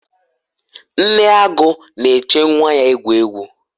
nne agu na-eche nwa ya egwu egwu